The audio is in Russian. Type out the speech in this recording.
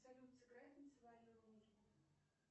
салют сыграй танцевальную музыку